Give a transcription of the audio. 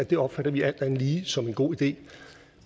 det opfatter vi alt andet lige som en god idé